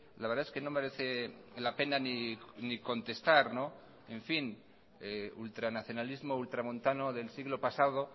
la verdad es que no merece la pena ni contestar en fin ultranacionalismo ultramontano del siglo pasado